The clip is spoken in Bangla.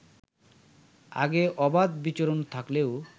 আগে অবাধ বিচরণ থাকলেও